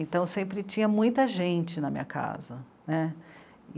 Então sempre tinha muita gente na minha casa, né.